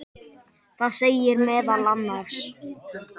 Það segir meðal annars